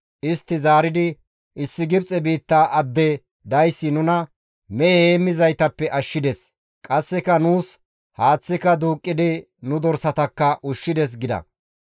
Istti zaaridi, «Issi Gibxe biitta adde dayssi nuna mehe heemmizaytappe ashshides; qasseka nuus haaththeka duuqqidi nu dorsatakka ushshides» gida.